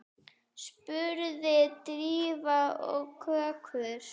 spurði Drífa og kökkur